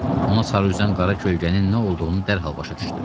Ona sarı üzən qara kölgənin nə olduğunu dərhal başa düşdü.